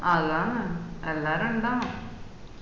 അതാണ് എല്ലാരും ഉണ്ടാവനം